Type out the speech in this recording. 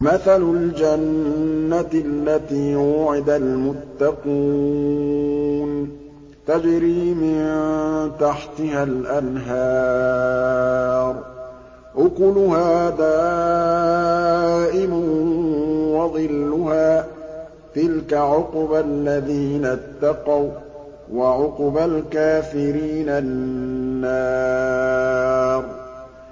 ۞ مَّثَلُ الْجَنَّةِ الَّتِي وُعِدَ الْمُتَّقُونَ ۖ تَجْرِي مِن تَحْتِهَا الْأَنْهَارُ ۖ أُكُلُهَا دَائِمٌ وَظِلُّهَا ۚ تِلْكَ عُقْبَى الَّذِينَ اتَّقَوا ۖ وَّعُقْبَى الْكَافِرِينَ النَّارُ